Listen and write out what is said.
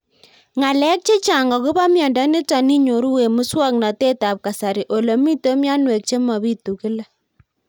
Ng'alek chechang' akopo miondo nitok inyoru eng' muswog'natet ab kasari ole mito mianwek che mapitu kila